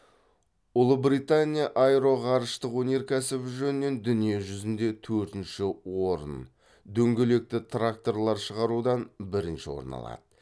ұлыбритания аэроғарыштық өнеркәсібі жөнінен дүние жүзінде төртінші орын дөңгелекті тракторлар шығарудан бірінші орын алады